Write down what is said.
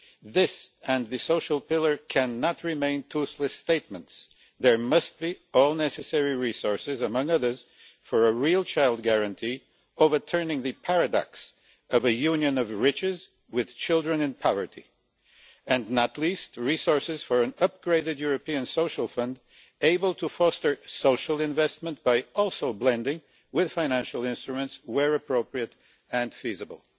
This and the social pillar cannot remain toothless statements. There must be all the necessary resources for, among other things, a real child guarantee overturning the paradox of a Union of riches with children in poverty and, not least, resources for an upgraded European Social Fund able to foster social investment by also blending with financial instruments where appropriate and feasible.